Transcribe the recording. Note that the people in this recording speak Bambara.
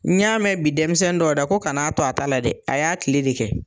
N y'a mɛn bi denmisɛnnin dɔw da ko kan'a to a ta la dɛ a y'a kile de kɛ.